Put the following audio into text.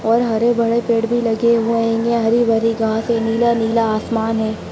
और हरे भरे पेड़ भी लगे हुए हैं| यह हरी-भरी घास नीला-नीला आसमान है।